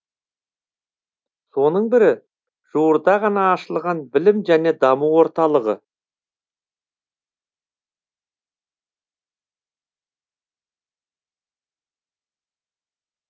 соның бірі жуырда ғана ашылған білім және даму орталығы